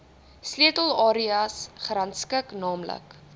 sleutelareas gerangskik naamlik